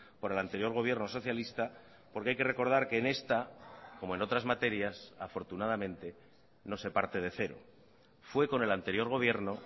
por el anterior gobierno socialista porque hay que recordar que en esta como en otras materias afortunadamente no se parte de cero fue con el anterior gobierno